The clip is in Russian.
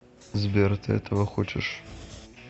сбер ты этого хочешь